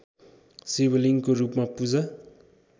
शिवलिङ्गको रूपमा पूजा